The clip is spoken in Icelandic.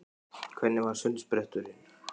Hvernig var sundspretturinn?